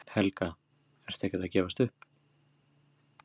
Helga: Ertu ekkert að gefast upp?